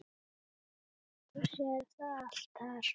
Þú sérð það allt þar.